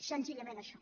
senzillament això